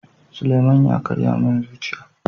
Suleman ya karya min zuciya.